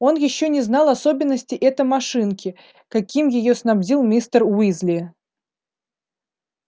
он ещё не знал особенностей этой машинки какими её снабдил мистер уизли